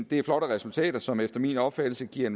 det er flotte resultater som efter min opfattelse giver